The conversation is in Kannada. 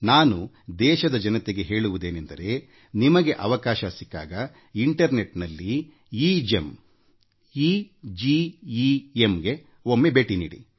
ನಾನು ದೇಶದ ಜನತೆಗೆ ಹೇಳುವುದೇನೆಂದರೆ ನಿಮಗೆ ಅವಕಾಶ ಸಿಕ್ಕಾಗEGEM ಎಗೆಮ್ ಅಂತರ್ಜಾಲ ತಾಣಕ್ಕೆ ಒಮ್ಮೆ ಭೇಟಿ ನೀಡಿ